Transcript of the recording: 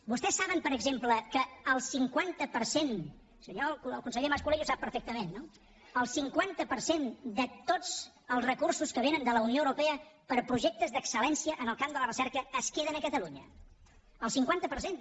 vostès saben per exemple que el cinquanta per cent el conseller mas colell ho sap perfectament no de tots els recursos que vénen de la unió europea per a projectes d’excel·lència en el camp de la recerca es queden a catalunya el cinquanta per cent